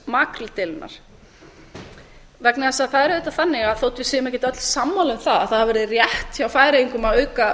makríldeilunnar vegna þess að það er auðvitað þannig að þótt við séum ekkert öll sammála um það að það hafi verið rétt hjá færeyingum að auka